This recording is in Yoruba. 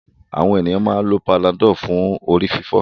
Àwọn ènìyàn máa ń lo Panadol fún orí-fífọ́.